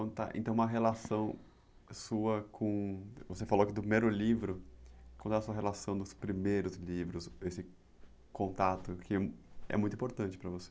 Então uma relação sua com, você falou que do primeiro livro, conta a sua relação dos primeiros livros, esse contato que é muito importante para você.